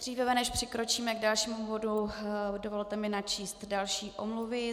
Dříve než přikročíme k dalšímu bodu, dovolte mi načíst další omluvy.